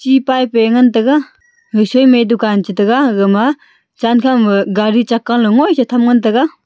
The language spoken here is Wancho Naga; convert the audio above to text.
ti pipe a ngan tega ga soi ma dukan chi taiga gaga ma chenkho ma gari chaka low ngoi che tham ngan tega.